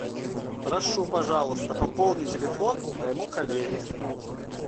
прошу пожалуйста пополни телефон моему коллеге